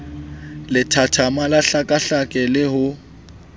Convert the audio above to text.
lethathama la tlhekatlheko le ho